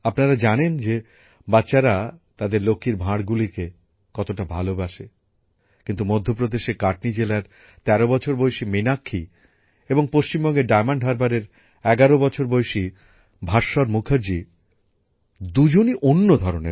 আপনারা জানেন যে বাচ্চারা তাদের লক্ষ্মীর ভাঁড়গুলিকে কতটা ভালোবাসে কিন্তু মধ্যপ্রদেশের কাটনি জেলার ১৩ বছর বয়সী মীনাক্ষী এবং পশ্চিমবঙ্গের ডায়মন্ড হারবারের ১১ বছর বয়সী ভাস্বর মুখার্জি দুজনই অন্য ধরণের